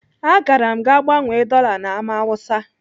Agara m gaa gbanwee dọla na Ámá Hausa.